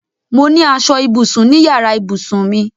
Mo ní aṣọ ibùsùn ní yàrá ìbùsùn mi.